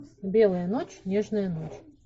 белая ночь нежная ночь